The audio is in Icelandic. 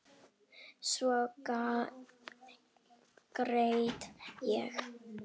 Svo grét ég.